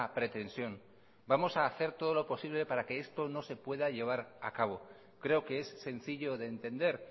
pretensión vamos a hacer todo lo posible para que esto no se pueda llevar a cabo creo que es sencillo de entender